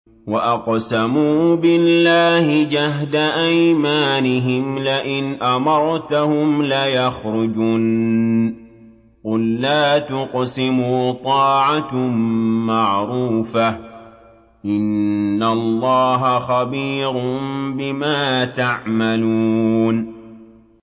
۞ وَأَقْسَمُوا بِاللَّهِ جَهْدَ أَيْمَانِهِمْ لَئِنْ أَمَرْتَهُمْ لَيَخْرُجُنَّ ۖ قُل لَّا تُقْسِمُوا ۖ طَاعَةٌ مَّعْرُوفَةٌ ۚ إِنَّ اللَّهَ خَبِيرٌ بِمَا تَعْمَلُونَ